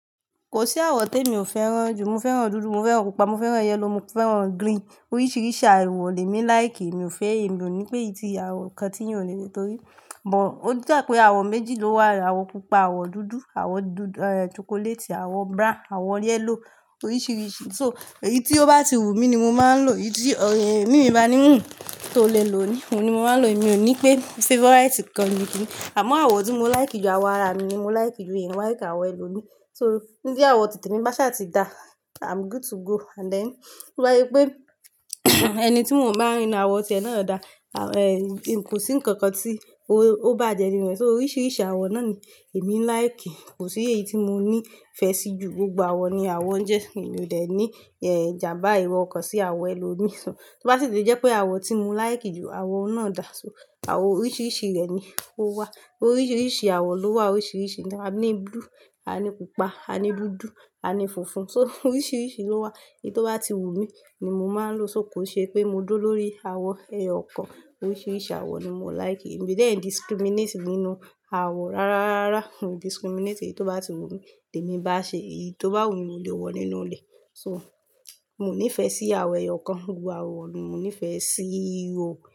Kò sí àwọ̀ temi ò fẹ́ràn jù. Mo fẹ́ràn dúdú, mo fẹ́ràn pupa, mo fẹ́ràn yellow, mo fẹ́ràn green. Oríṣiríṣi àwọ̀ lẹ mí like. Mi ò fẹ́ èyí, mi ò ní pé eyií tí àwọ̀ kan tí yàn ò le ní torí. Bọ̀ọ́, ó jẹ́ pé àwọ̀ méjì ló wà. Àwọ̀ pupa, àwọ̀ dúdú, àwọ̀ dúdú, eh, chocolate, àwọ̀ brown, àwọ̀ yellow. Oríṣiríṣi. So, èyí tí ó bá ti wù mí ni mo máa ń lò. Èyí tí, ọ, eh, mí mi bá ní ń, tó le lò ó ní, òun ni mo máa ń lò. Èmi ò ní pé favourite kan ni kíni. Àmọ́ àwọ̀ tí mo like jù, àwọ̀ ara mi ni mo like jù. Mí o like àwọ̀ ẹlòmíí. So, tí àwọ̀ ti tèmí bá ṣà ti da, I'm good to go. And then, wáyé pé ẹni tí mò ń bá rí ní àwọ̀ ti ẹ̀ náà dá, à, eh, kò sí ǹkan kan tí ó, ó bá jẹ ni ìbẹ̀. So oríṣiríṣi àwọ̀ náà ni èmi n like. Kò sí èyí tí mo ní ìfẹ́ sí jù. Gbogbo àwọ̀ ni àwọn ń jẹ. Èmi ò dẹ̀ ní, eh, ìjàmbá ẹro ọ̀kan sí àwọ̀ ẹlòmíí. So, tó bá sì tì jẹ́ pé àwọ̀ tí mo like jù, àwọ̀ náà dà. So, àwọ̀ oríṣiríṣi rẹ̀ ni ó wà. Oríṣiríṣi àwọ̀ ló wà. Oríṣiríṣi. A ní blue, a ní pupa, a ní dúdú, a ní funfun. So oríṣiríṣi ló wà. Èyí tó bá ti wù mí ni mo máa ń lò. So kò ṣe pé mo dúró lórí àwọ̀ ẹyọ ọ̀kan. Oríṣiríṣi àwọ̀ ni mo like. Èmi de ẹ discriminate nínú àwọ̀ rárá, rárá. I discriminate èyí tó bá ti wù mí. Tèmi bá ṣe èyí tó bá wù mí mó lé wọ nínú ilé. So, mo ní ìfẹ́ sí àwọ̀ ẹyọ ọ̀kan. Gbogbo àwọ̀ ni mo ní ìfẹ́ sí i oo.